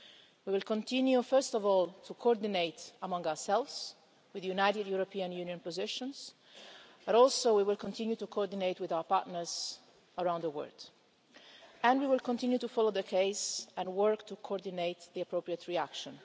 We will continue, first of all, to coordinate among ourselves, with united European Union positions, but we will also continue to coordinate with our partners around the world and continue to follow the case and work to coordinate the appropriate reaction.